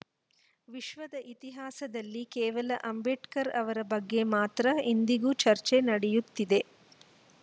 ವಿಶ್ವದ ಇತಿಹಾಸದಲ್ಲಿ ಕೇವಲ ಅಂಬೇಡ್ಕರ್‌ ಅವರ ಬಗ್ಗೆ ಮಾತ್ರ ಇಂದಿಗೂ ಚರ್ಚೆ ನಡೆಯುತ್ತಿದೆ